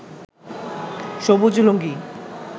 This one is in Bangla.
সবুজ লুঙ্গি